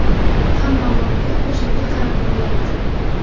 Hamma voqea o‘shanga qarab borayapti.